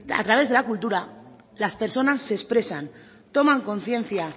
a través de la cultura las personas se expresan toman conciencia